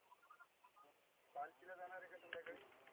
पालकीला जानार आहे का संध्याकाळी?